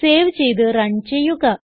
save ചെയ്ത് run ചെയ്യുക